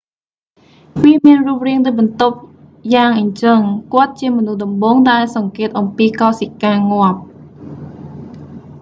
វាមានរូបរាងដូចបន្ទប់យ៉ាងអញ្ចឹង គាត់ជាមនុស្សដំបូងដែលសង្កេតអំពីកោសិកាងាប់